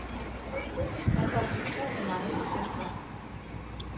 Der kom utrolig mange protester.